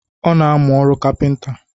Ọ na-amụ ọrụ kapịnta